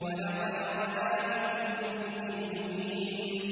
وَلَقَدْ رَآهُ بِالْأُفُقِ الْمُبِينِ